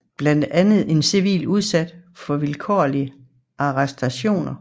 Blandt andet er civile udsat for vilkårlige arrestationer